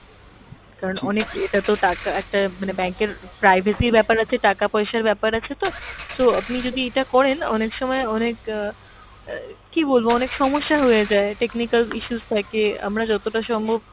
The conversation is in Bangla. কারন অনেক এটাতো টাকা একটা মানে bank এর privacy ব্যাপার আছে টাকা পয়সার ব্যাপার আছে তো, so আপনি যদি এটা করেন অনেক সময় অনেক অ্যাঁ কী বলবো অনেক সমস্যা হয়ে যায়, technical issues থাকে, আমরা যতটা সম্ভব,